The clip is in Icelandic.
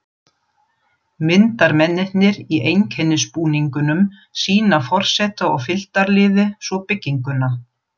Myndarmennirnir í einkennisbúningunum sýna forseta og fylgdarliði svo bygginguna.